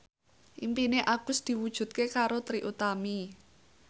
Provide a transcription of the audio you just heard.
impine Agus diwujudke karo Trie Utami